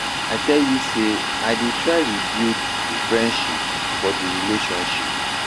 I tell you sey I dey try rebuild di friendship for di relationship.